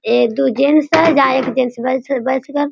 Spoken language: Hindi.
एक दो जेंट्स है जहाँ --